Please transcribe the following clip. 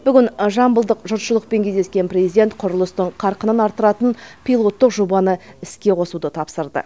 бүгін жамбылдық жұртшылықпен кездескен президент құрылыстың қарқынын арттыратын пилоттық жобаны іске қосуды тапсырды